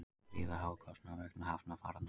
Gríðarhár kostnaður vegna hamfaranna